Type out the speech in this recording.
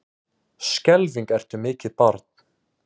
Skelfing ertu mikið barn.